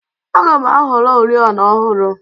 Aga m ahọrọ oriọna ọhụrụ.